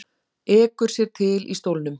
Ekur sér til í stólnum.